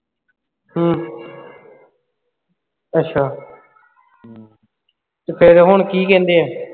ਹੂ ਅੱਛਾ ਤੇ ਫਿਰ ਹੁਣ ਕੀ ਕਹਿੰਦੇ ਹੈ